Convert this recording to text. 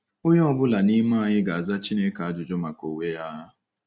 Onye ọ bụla n’ime anyị ga-aza Chineke ajụjụ maka onwe ya.